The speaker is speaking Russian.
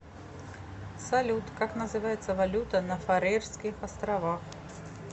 салют как называется валюта на фарерских островах